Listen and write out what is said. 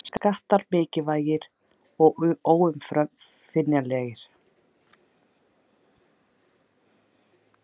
Skattar mikilvægir og óumflýjanlegir